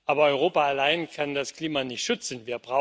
Aber Europa allein kann das Klima nicht schützen.